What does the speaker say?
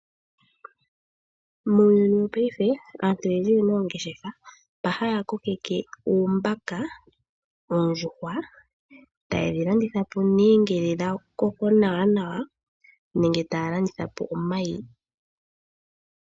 Muuyuni wopayife aantu oyendji oyena oongeshefa, mba haya kokeke uumbaka, oondjuhwa, e taye dhi landitha po nee ngele dhakoko nawa nenge taya landitha po omayi.